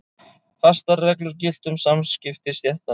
Fastar reglur giltu um samskipti stéttanna.